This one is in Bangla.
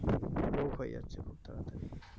রোগ হয়ে যাচ্ছে খুব তাড়াতাড়ি